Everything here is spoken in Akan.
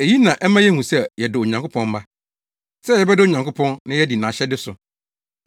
Eyi na ɛma yehu sɛ yɛdɔ Onyankopɔn mma; sɛ yɛbɛdɔ Onyankopɔn na yɛadi nʼahyɛde so.